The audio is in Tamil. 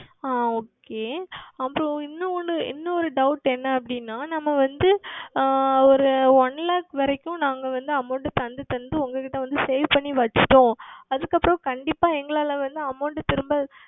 ஆஹ் Okay அப்புறம் இன்னொரு இன்னொரு Doubt என்னவென்றால் நாங்கள் வந்து ஓர் One Lakh வரைக்கும் நாங்கள் வந்து amount தந்து தந்து உங்களிடம் வந்து Save செய்து வைத்துவிட்டோம் அதுக்கு அப்புறம் கண்டிப்பாக வந்து எங்களால் வந்து Amount திரும்ப